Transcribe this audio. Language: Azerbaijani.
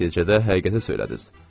Nəticədə həqiqəti söylədiniz.